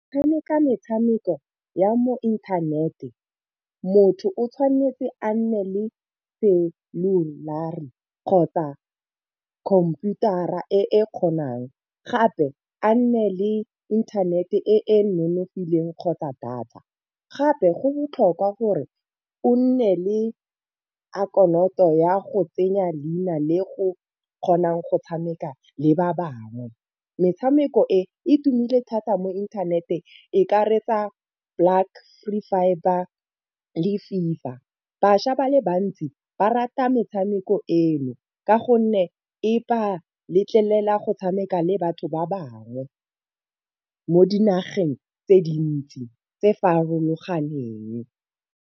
Tshameka metshameko ya mo inthanete, motho o tshwanetse a nne le celulara kgotsa computer a e kgonang. Gape a nne le inthanete e e nonofileng kgotsa data. Gape go botlhokwa gore o nne le akhanoto ya go tsenya leina le go kgona go tshameka le ba bangwe. Metshameko e tumile thata mo inthaneteng e ka reetsa black free fibre le fiverr, bašwa ba le bantsi ba rata metshameko eno ka gonne e ba letlelela go tshameka le batho ba bangwe mo dinageng tse dintsi tse farologaneng.